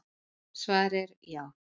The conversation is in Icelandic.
svarið er já